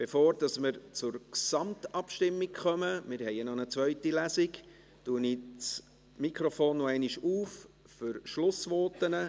Bevor wir zur Gesamtabstimmung kommen – wir haben ja noch eine zweite Lesung –, öffne ich noch einmal das Mikrofon für Schlussvoten.